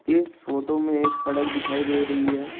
इस फोटो में एक सड़क दिखाई दे रही है।